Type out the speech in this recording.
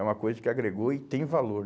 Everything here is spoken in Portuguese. É uma coisa que agregou e tem valor.